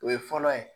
O ye fɔlɔ ye